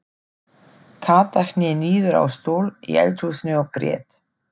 Kata hné niður á stól í eldhúsinu og grét.